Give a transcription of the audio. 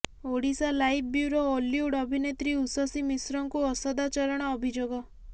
Odisha live bureau Ollywood ଅଭିନେତ୍ରୀ ଉଷସୀ ମିଶ୍ରଙ୍କୁ ଅସଦାଚରଣ ଅଭିଯୋଗ